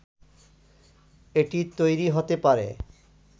এটি তৈরি হতে পারে